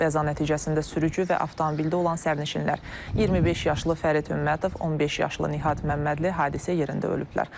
Qəza nəticəsində sürücü və avtomobildə olan sərnişinlər, 25 yaşlı Fərid Hümmətov, 15 yaşlı Nihat Məmmədli hadisə yerində ölüblər.